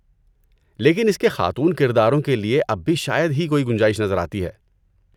لیکن اس کے خاتون کرداروں کے لیے اب بھی شاید ہی کوئی گنجائش نظر آتی ہے۔